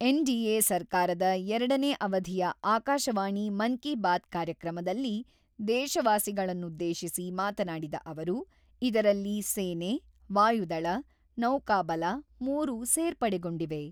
NDA ಸರ್ಕಾರದ ಎರಡನೆ ಅವಧಿಯ ಆಕಾಶವಾಣಿ ಮನ್ ಬಾತ್ ಕಾರ್ಯಕ್ರಮದಲ್ಲಿ ದೇಶವಾಸಿಗಳನ್ನುದ್ದೇಶಿಸಿ ಮಾತನಾಡಿದ ಅವರು, ಇದರಲ್ಲಿ ಸೇನೆ, ವಾಯುದಳ, ನೌಕಾಬಲ ಮೂರು ಸೇರ್ಪಡೆಗೊಂಡಿವೆ.